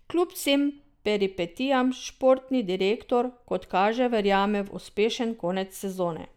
Kljub vsem peripetijam športni direktor, kot kaže, verjame v uspešen konec sezone.